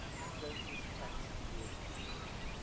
services tax gst